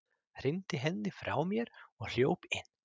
Hrinti henni frá mér og hljóp inn.